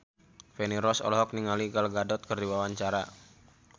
Feni Rose olohok ningali Gal Gadot keur diwawancara